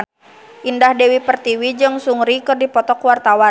Indah Dewi Pertiwi jeung Seungri keur dipoto ku wartawan